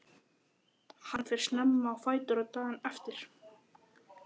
Hann fer snemma á fætur daginn eftir.